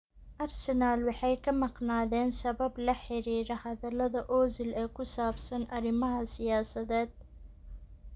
Arsenal waxay ka maqnaadeen sabab la xiriira hadallada Ozil ee ku saabsan arrimaha siyaasadeed.